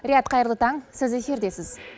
рияд қайырлы таң сіз эфирдесіз